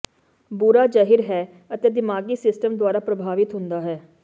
ਬੁਰਾ ਜ਼ਹਿਰ ਹੈ ਅਤੇ ਦਿਮਾਗੀ ਸਿਸਟਮ ਦੁਆਰਾ ਪ੍ਰਭਾਵਿਤ ਹੁੰਦਾ ਹੈ